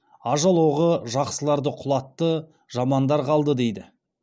ажал оғы жақсыларды құлатты жамандар қалды дейді